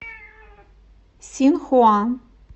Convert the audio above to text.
синхуа